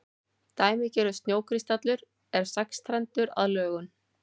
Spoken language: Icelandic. dæmigerður snjókristallur er sexstrendur að lögun